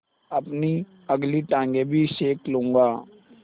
अपनी अगली टाँगें भी सेक लूँगा